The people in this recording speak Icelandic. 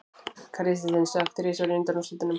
Kristinn stökk þrisvar í undanúrslitunum